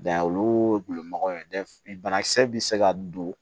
olu gulonnen bana kisɛ bi se ka don